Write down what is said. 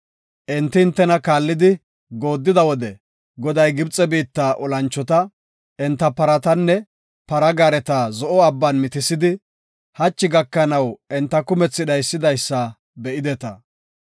Enti hintena kaallidi gooddida wode, Goday Gibxe biitta olanchota, enta paratanne para gaareta Zo7o Abban mitisidi, hachi gakanaw enta kumethi dhaysidaysa be7ideta.